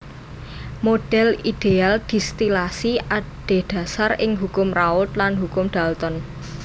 Model ideal distilasi adhedhasar ing Hukum Raoult lan Hukum Dalton